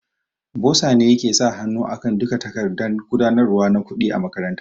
Boza ne yake sa hanu akan duka takardan gudanarwa na kuɗi a makaranta